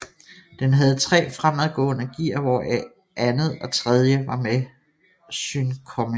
Den havde 3 fremadgående gear hvoraf 2det og 3die var med synkomesh